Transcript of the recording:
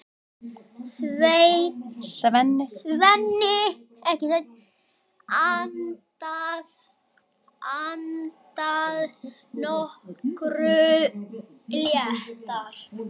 Svenni andað nokkru léttar.